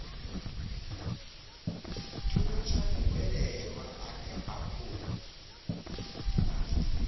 thuntsha muhwelelwa ane a khou